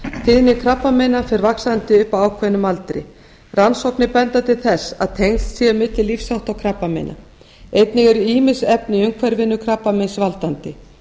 tíðni krabbameina fer vaxandi upp að ákveðnum aldri rannsóknir benda til þess að tengsl séu á milli lífshátta og krabbameina einnig eru ýmis efni í umhverfinu krabbameinsvaldandi